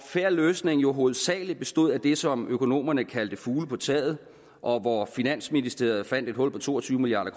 fair løsning jo hovedsagelig bestod af det som økonomerne kaldte fugle på taget og hvor finansministeriet fandt et hul på to og tyve milliard